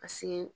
Paseke